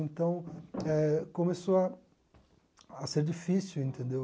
Então, eh começou a a ser difícil, entendeu?